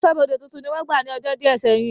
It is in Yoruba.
Aṣọ́bọdè tuntun ni wọ́n gbà ní ọjọ́ díẹ̀ sẹ́yìn